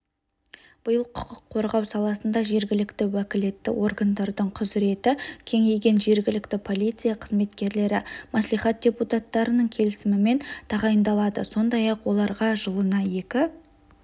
биыл құқық қорғау саласында жергілікті уәкілетті органдардың құзіреті кеңейген жергілікті полиция қызметкерлері мәслихат депутаттарының келісімімен тағайындалады сондай-ақ оларға жылына екі